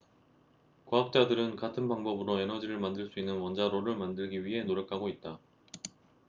과학자들은 같은 방법으로 에너지를 만들 수 있는 원자로를 만들기 위해 노력하고 있다